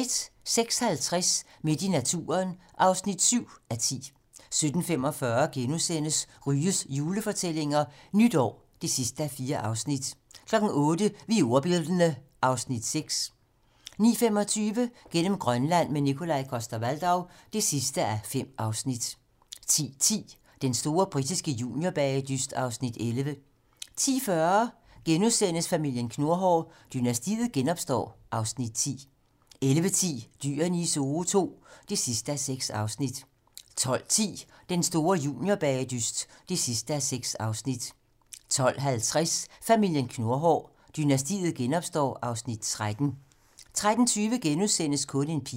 06:50: Midt i naturen (7:10) 07:45: Ryges julefortællinger - Nytår (4:4)* 08:00: Vi er ordbildne (Afs. 6) 09:25: Gennem Grønland - med Nikolaj Coster-Waldau (5:5) 10:10: Den store britiske juniorbagedyst (Afs. 11) 10:40: Familien Knurhår: Dynastiet genopstår (Afs. 10)* 11:10: Dyrene i Zoo II (6:6) 12:10: Den store juniorbagedyst (6:6) 12:50: Familien Knurhår: Dynastiet genopstår (Afs. 13) 13:20: Kun en pige *